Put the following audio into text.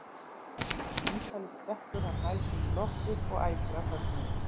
Eftir símtalið stekkur hann hæð sína í loft upp og æpir af fögnuði.